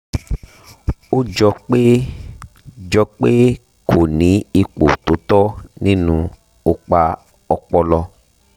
ó jọ pé jọ pé kò ní ipò tó tọ́ nínú opa ọpọlọ